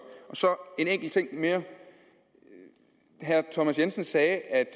så en enkelt ting mere herre thomas jensen sagde at